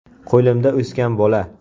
Qo‘limda o‘sgan bola.